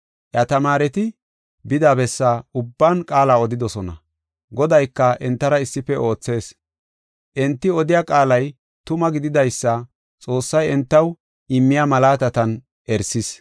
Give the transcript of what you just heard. Iya tamaareti bida bessa ubban qaala odidosona. Godayka entara issife oothees. Enti odiya qaalay tuma gididaysa Xoossay entaw immiya malaatatan erisis.